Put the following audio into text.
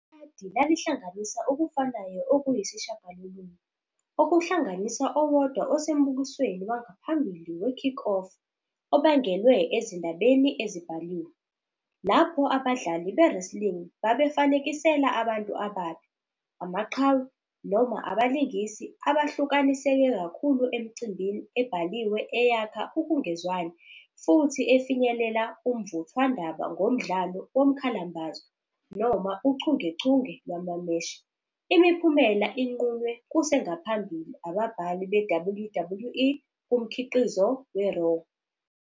Ikhadi lalihlanganisa okufanayo okuyisishagalolunye, okuhlanganisa owodwa osembukisweni wangaphambili we-Kickoff, obangelwe ezindabeni ezibhaliwe, lapho abadlali be- wrestling babefanekisela abantu ababi, amaqhawe, noma abalingisi abahlukaniseke kakhulu emicimbini ebhaliwe eyakha ukungezwani futhi efinyelele umvuthwandaba ngomdlalo womkhalambazo noma uchungechunge lwamameshi, imiphumela enqunywe kusengaphambili ababhali be-WWE kumkhiqizo we-Raw.